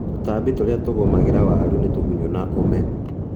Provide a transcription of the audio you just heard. Tũtambi tũrĩa tũgũmagĩra waru nĩ tũgunyũ na ũme